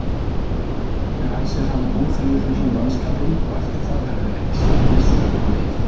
Í fyrramálið ræsir hann óþreyjufullan mannskapinn og eftir það verður ekki slegið slöku við!